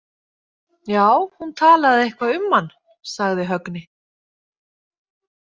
Já, hún talaði eitthvað um hann, sagði Högni.